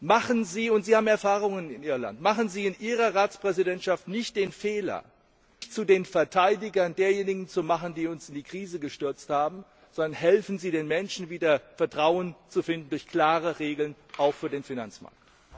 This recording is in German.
Machen Sie und Sie haben Erfahrung in Irland in Ihrer Ratspräsidentschaft nicht den Fehler, sich zu den Verteidigern derjenigen zu machen, die uns in die Krise gestürzt haben, sondern helfen Sie den Menschen, wieder Vertrauen zu finden durch klare Regeln, auch für den Finanzmarkt.